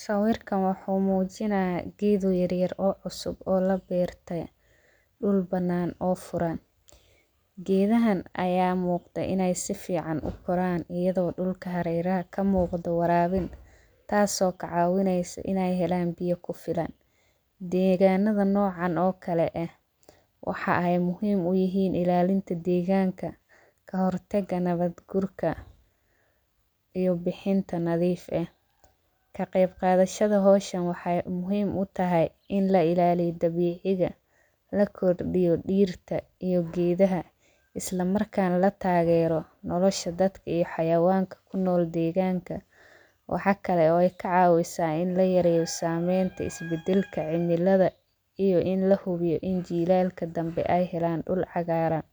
Sawirkan waxuu muujinaya geeda yaryar cusub oo labeertay dhul banaan oo furan. Geedahan aya muqda inay si fican u koran iyado dhulka hareeraha ka muqda waraabin taaso kacawinayso inay helan biyo ku filan. Deeganada noocan oo kale eh waxaa ay muhiim u yihiin ilaalinta deeganka kahortaga nabad gurka iyo bixinta nadiif eh. Ka qaybqadashada hawshan waxay muhiim u tahay in la ilaaliyo dabiiciga lakordhiyo dhirta iyo geedaha islamarkana la taagero nolasha dadka iyo xayawanka ku nool deeganka waxaa kale oo ay kacaawisa in layareeyo sameynta is bedelka cimilada iyo in lahubiyo in jilaalka dambe ay helan dhul cagaaran